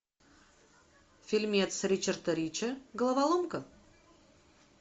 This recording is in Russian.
фильмец ричарда рича головоломка